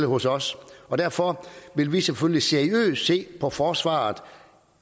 hos os og derfor vil vi selvfølgelig seriøst se på forsvaret